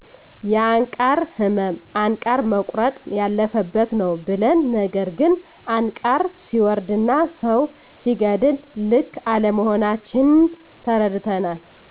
የአንቃር እመም አንቃር መቆረጥ ያለፈበት ነው ብለን ነገር ግን አንቃር ሰወርድና ሰው ሲገድል ልክ አለመሆናችን ተረድተናል